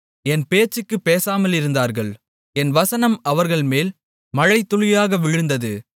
என் பேச்சுக்குப் பேசாமலிருந்தார்கள் என் வசனம் அவர்கள்மேல் மழைத்துளியாக விழுந்தது